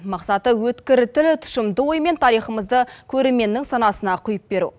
мақсаты өткір тіл тұщымды оймен тарихымызды көрерменнің санасына құйып беру